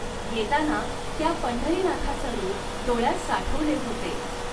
येताना त्या पंढरीनाथाच रूप ङोळ्यात साठवले होते.